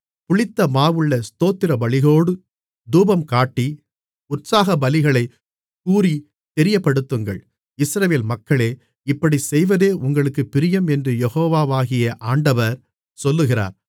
புளித்தமாவுள்ள ஸ்தோத்திரபலியோடு தூபம் காட்டி உற்சாகபலிகளைக் கூறித் தெரியப்படுத்துங்கள் இஸ்ரவேல் மக்களே இப்படிச் செய்வதே உங்களுக்குப் பிரியம் என்று யெகோவாகிய ஆண்டவர் சொல்லுகிறார்